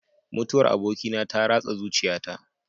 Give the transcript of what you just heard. Mutuwar abokina ta ratsa zuciyata.